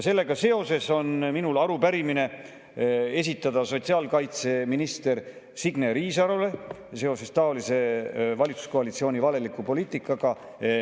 Sellega seoses on mul arupärimine sotsiaalkaitseminister Signe Riisalole seoses valitsuskoalitsiooni valeliku poliitikaga.